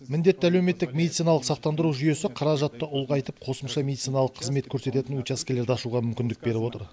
міндетті әлеуметтік медициналық сақтандыру жүйесі қаражатты ұлғайтып қосымша медициналық қызмет көрсететін учаскелерді ашуға мүмкіндік беріп отыр